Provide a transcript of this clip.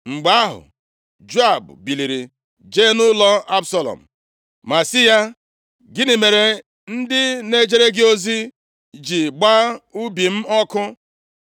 Mgbe ahụ, Joab biliri jee nʼụlọ Absalọm, ma sị ya, “Gịnị mere ndị na-ejere gị ozi ji gbaa ubi m ọkụ?”